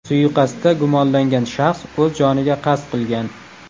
Suiqasdda gumonlangan shaxs o‘z joniga qasd qilgan.